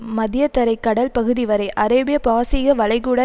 மத்தியதரை கடல் பகுதிவரை அரேபிய பாரசீக வளைகுடா